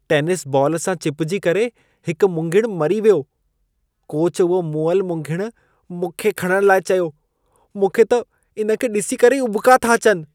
Tennis ball सां चिपिजी करे हिकु मुंघिणु मरी वियो। कोच उहो मुअलु मुंघिणु मूंखे खणण लाइ चयो। मूंख़े त इन खे ॾिसी करे ई उॿिका था अचनि।